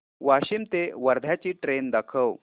वाशिम ते वर्धा ची ट्रेन दाखव